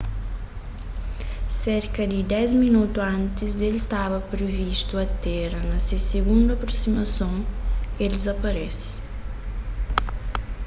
serka di dês minotu antis ki el staba privistu atéra na se sigundu aprosimason el dizaparese